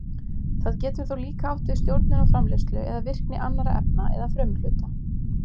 Það getur þó líka átt við stjórnun á framleiðslu eða virkni annarra efna eða frumuhluta.